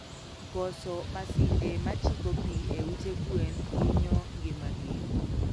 Koso masinde machiko pii e ute gwen hinyo ngima gi